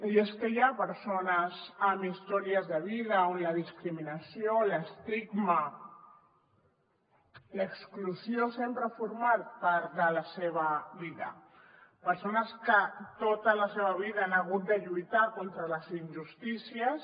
i és que hi ha persones amb històries de vida on la discriminació l’estigma l’exclusió sempre formen part de la seva vida persones que tota la seva vida han hagut de lluitar contra les injustícies